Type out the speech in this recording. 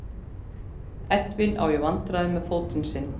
Edwin á í vandræðum með fótinn sinn.